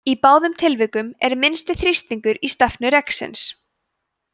í báðum tilvikum er minnsti þrýstingur í stefnu reksins